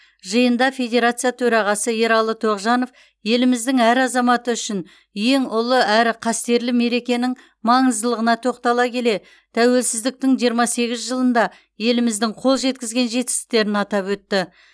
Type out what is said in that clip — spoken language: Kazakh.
жиында федерация төрағасы ералы тоғжанов еліміздің әр азаматы үшін ең ұлы әрі қастерлі мерекенің маңыздылығына тоқтала келе тәуелсіздіктің жиырма сегіз жылында еліміздің қол жеткізген жетістіктерін атап өтті